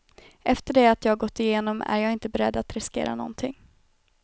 Efter det jag gått igenom är jag inte beredd att riskera någonting.